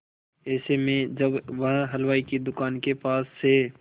ऐसे में जब वह हलवाई की दुकान के पास से